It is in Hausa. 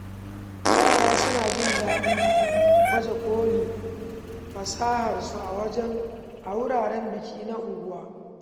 Yara suna jin daɗin baje kolin fasaharsu a wuraren biki na unguwa.